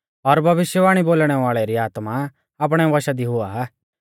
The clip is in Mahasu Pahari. और भविष्यवाणी बोलणै वाल़ै री आत्मा आपणै वशा दी हुआ